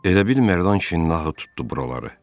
Elə bil Mərdan kişinin ahı tutdu buraları.